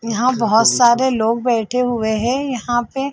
यहाँ बहोत सारे लोग बैठे हुए है यहाँ पे--